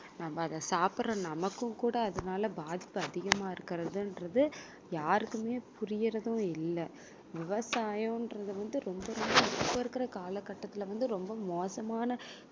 நம்ம அதை சாப்பிடுற நமக்கும் கூட அதனால பாதிப்பு அதிகமா இருக்குறது என்றது யாருக்குமே புரியறதும் இல்ல விவசாயம் என்றது வந்து ரொம்ப ரொம்ப இப்ப இருக்குற காலகட்டத்துல வந்து ரொம்ப மோசமான